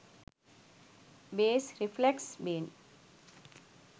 bass reflex bin